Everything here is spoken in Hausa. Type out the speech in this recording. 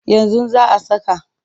Yanzu za a saka.